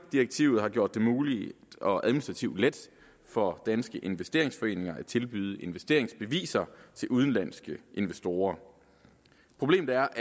direktivet har gjort det muligt og administrativt let for danske investeringsforeninger at tilbyde investeringsbeviser til udenlandske investorer problemet er